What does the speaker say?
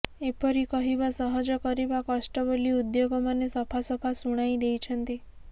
ଏପରି କହିବା ସହଜ କରିବା କଷ୍ଟ ବୋଲି ଉଦ୍ୟୋଗମାନେ ସଫାସଫା ଶୁଣାଇ ଦେଇଛନ୍ତି